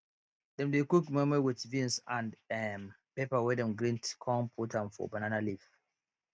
dem dey cook moi moi with beans and um pepper wey dem grind con put am for banana leaf